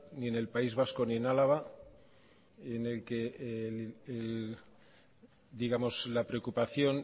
ni en el país vasco ni en álava en el que la preocupación